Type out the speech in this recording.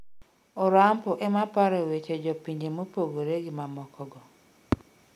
Orampo emaparo weche jopinje mopogore gi mamoko go